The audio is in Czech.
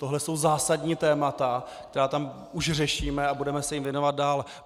Tohle jsou zásadní témata, která tam už řešíme, a budeme se jim věnovat dál.